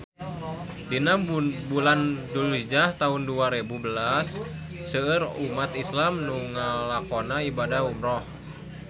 Dina bulan Dulhijah taun dua rebu sabelas seueur umat islam nu ngalakonan ibadah umrah